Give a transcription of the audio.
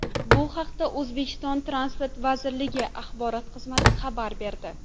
Bu haqda O‘zbekiston Transport vazirligi axborot xizmati xabar berdi .